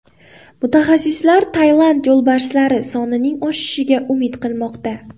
Mutaxassislar Tailand yo‘lbarslari sonining oshishiga umid qilmoqda.